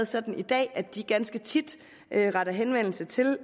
sådan i dag at de ganske tit retter henvendelse til